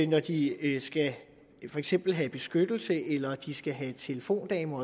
når de for eksempel skal have beskyttelse eller de skal have telefondamer